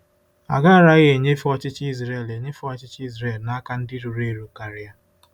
Agaraghị enyefe ọchịchị Israel enyefe ọchịchị Israel n'aka ndị ruru eru karịa.